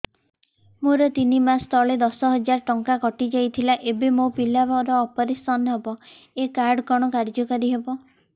ମୋର ତିନି ମାସ ତଳେ ଦଶ ହଜାର ଟଙ୍କା କଟି ଯାଇଥିଲା ଏବେ ମୋ ପିଲା ର ଅପେରସନ ହବ ଏ କାର୍ଡ କଣ କାର୍ଯ୍ୟ କାରି ହବ